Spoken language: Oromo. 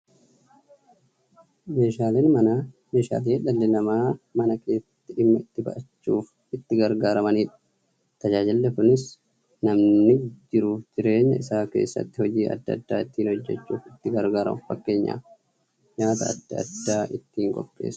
Meeshaaleen Manaa meeshaalee dhalli namaa Mana keessatti dhimma itti ba'achuuf itti gargaaramaniidha. Tajaajilli kunis, namni jiruuf jireenya isaa keessatti hojii adda adda ittiin hojjachuuf itti gargaaramu. Fakkeenyaaf, nyaata adda addaa ittiin qopheessuuf.